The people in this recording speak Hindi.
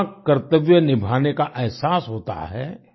जहाँ कर्तव्य निभाने का एहसास होता है